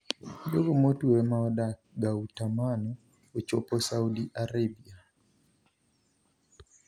jogomotwe maodak Gautamano ochopo Saudi Arabia.